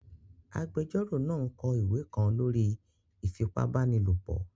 Agbẹjọ́rò náà n kọ ìwé kan lórí ìfipábanílòpọ̀